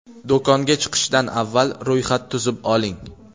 Do‘konga chiqishdan avval ro‘yxat tuzib oling.